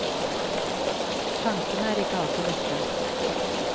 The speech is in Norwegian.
Tankene er ikke alltid lette.